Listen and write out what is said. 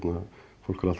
fólk er alltaf að